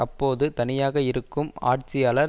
அப்போது தனியாக இருக்கும் ஆட்சியாளர்